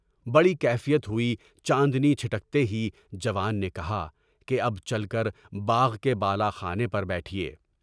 بڑی کیفیت ہوئی۔ چاندنی چھٹکتے ہی جوان نے کہا کہ اب چل کر باغ کے بالا خانے پر بیٹھیے۔